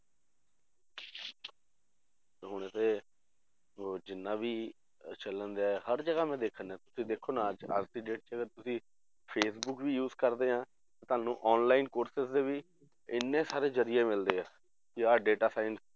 ਹੁਣ ਤੇ ਉਹ ਜਿੰਨਾ ਵੀ ਅਹ ਚੱਲਣ ਡਿਆ ਹਰ ਜਗ੍ਹਾ ਮੈਂ ਦੇਖਣ ਡਿਆ ਤੁਸੀਂ ਦੇਖੋ ਨਾ ਅੱਜ ਅੱਜ ਦੀ date 'ਚ ਤੁਸੀਂ ਫੇਸਬੁੱਕ ਵੀ use ਕਰਦੇ ਆ ਤਾਂ ਤੁਹਾਨੂੰ online courses ਦੇ ਵੀ ਇੰਨੇ ਸਾਰੇ ਜ਼ਰੀਏ ਮਿਲਦੇ ਆ ਕਿ ਆਹ data science